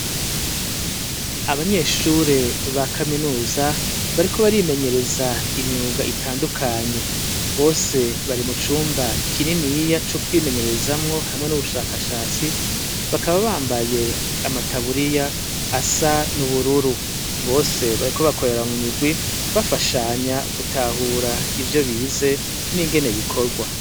Abanyeshure ba kaminuza bariko barimenyereza imyuga itandukanye bose bari mu cumba kininiya co kwimenyerezamwo hamwe n'ubushakashatsi bakaba bambaye amataburiya asa n'ubururu bose bariko bakoreraa mu migwi bafasha anya gutahura ivyo bize n'ingene bikorwa.